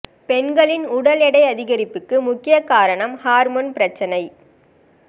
பெண்களின் உடல் எடை அதிகரிப்புக்கு முக்கிய காரணம் ஹார்மோன் பிரச்சனை